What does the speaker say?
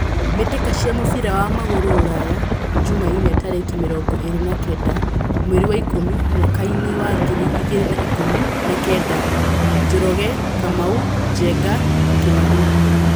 Mbĩtĩka cia mũbira wa magũrũ Ruraya Jumaine tarĩki mĩrongo ĩrĩ na kenda mweri wa ikũmi mwakainĩ wa ngiri igĩrĩ na ikũmi na kenda:Njoroge, Kamau, Njenga, Kimani.